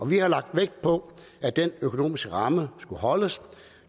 vi har lagt vægt på at den økonomiske ramme skulle holdes